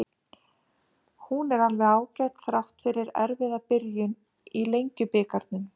Hún er alveg ágæt, þrátt fyrir erfiða byrjun í Lengjubikarnum.